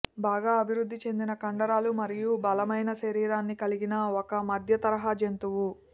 బాగా అభివృద్ధి చెందిన కండరాలు మరియు బలమైన శరీరాన్ని కలిగిన ఒక మధ్య తరహా జంతువు